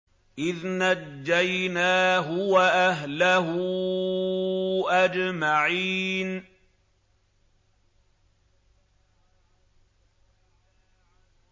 إِذْ نَجَّيْنَاهُ وَأَهْلَهُ أَجْمَعِينَ